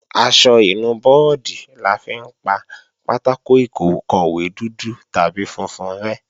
Aṣọ ìnu bọ́ọ̀dì la fi ń pa pátákò ìkọ̀wé dúdú tàbí funfun rẹ́